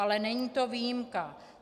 Ale není to výjimka.